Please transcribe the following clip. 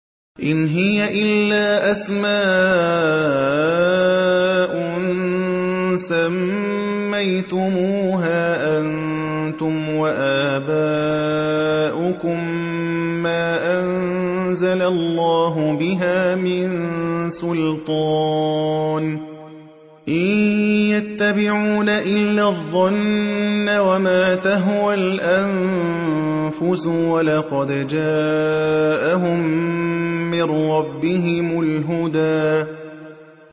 إِنْ هِيَ إِلَّا أَسْمَاءٌ سَمَّيْتُمُوهَا أَنتُمْ وَآبَاؤُكُم مَّا أَنزَلَ اللَّهُ بِهَا مِن سُلْطَانٍ ۚ إِن يَتَّبِعُونَ إِلَّا الظَّنَّ وَمَا تَهْوَى الْأَنفُسُ ۖ وَلَقَدْ جَاءَهُم مِّن رَّبِّهِمُ الْهُدَىٰ